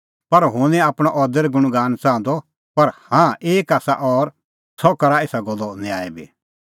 पर हुंह निं आपणअ अदर गुणगान च़ाहंदअ पर हाँ एक आसा और सह करा एसा गल्लो न्याय बी